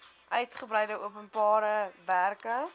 uitgebreide openbare werke